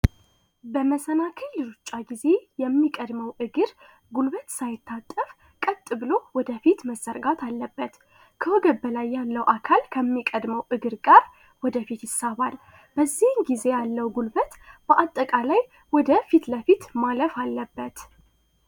በመሰናከሩ የሩጫ ጊዜ የሚቀድመው እግር ጉልበት ሳይታጠብ ብሎ ወደፊት መዘርጋት አለበት ያለው አካል ከሚቀድመው እግር ጋር ወደፊት ያለው ጉልበት በአጠቃላይ ወደ ፊት ለፊት ማለፍ አለበት